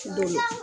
Don min na